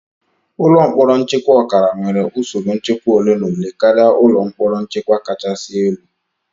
Ụlọ mkpọrọ nchekwa ọkara nwere usoro nchekwa ole na ole karịa ụlọ mkpọrọ nchekwa kachasị elu